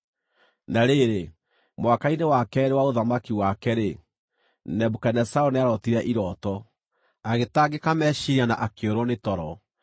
Na rĩrĩ, mwaka-inĩ wa keerĩ wa ũthamaki wake-rĩ, Nebukadinezaru nĩarootire irooto; agĩtangĩka meciiria na akĩũrwo nĩ toro.